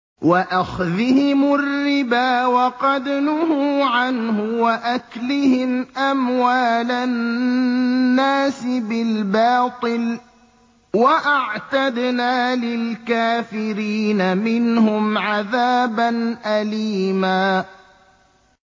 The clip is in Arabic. وَأَخْذِهِمُ الرِّبَا وَقَدْ نُهُوا عَنْهُ وَأَكْلِهِمْ أَمْوَالَ النَّاسِ بِالْبَاطِلِ ۚ وَأَعْتَدْنَا لِلْكَافِرِينَ مِنْهُمْ عَذَابًا أَلِيمًا